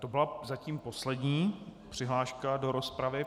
To byla zatím poslední přihláška do rozpravy.